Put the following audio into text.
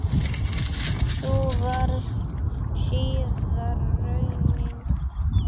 Sú varð síðar raunin.